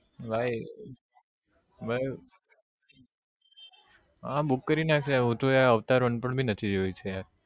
ભાઈ ભાઈ હા book કરી નાખ હું તો yaar avatar one પણ નથી જોયું છે yaar